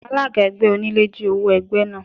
Alága ẹgbẹ́ onílé jí owó ẹgbẹ́ náà.